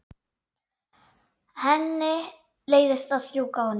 Henni leiðist að strjúka honum.